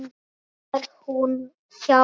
Nú er hann hjá þér.